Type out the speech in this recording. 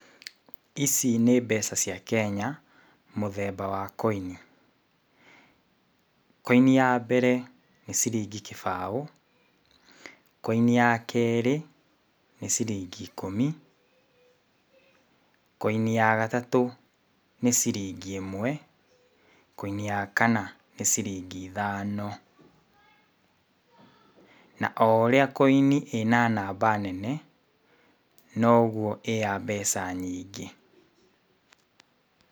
Ici nĩ mbeca cia Kenya mũthemba wa koini. Koini ya mbere ya ciringi kĩbaũ. Koini ya kerĩ nĩ ciringi ikũmi. Koini ya gatatu nĩ ciringi imwe. Koini ya kana nĩ ciringi ithano. Na ũria koini ĩna namba nene noguo ĩ ya mbeca nyĩngĩ.